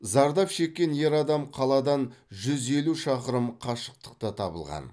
зардап шеккен ер адам қаладан жүз елу шақырым қашықтықта табылған